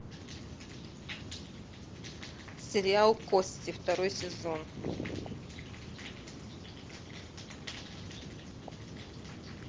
сериал кости второй сезон